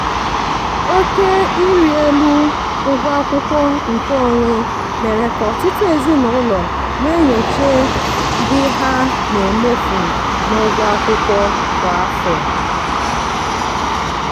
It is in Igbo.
oke ịrị elu ụgwọ akwụkwọ nkeonwe mere ka ọtụtụ ezinụlọ na-enyocha the ha na-emefu n'ụgwọ akwụkwọ kwa afọ.